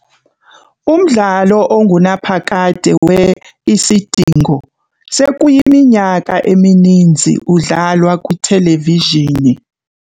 Umdlalo ongunaphakade we-Isidingo sekuyiminyaka emininzi udlalwa kwithelevizhini.